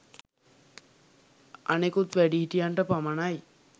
අනෙකුත් වැඩිහිටියන්ට පමණයි